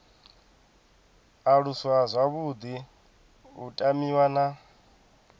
aluswa zwavhuḓi u tamiwa na